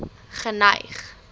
geneig